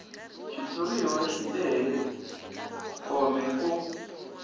xitshuriwa xi lehe kome ku